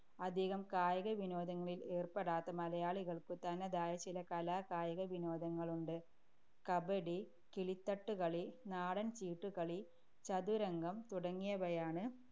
അധികം കായിക വിനോദങ്ങളിൽ ഏർപ്പെടാത്ത മലയാളികൾക്കു തനതായ ചില കലാ-കായിക വിനോദങ്ങളുണ്ട്. കബഡി, കിളിത്തട്ടുകളി, നാടൻ ചീട്ടുകളി, ചതുരംഗം, തുടങ്ങിയവയാണ്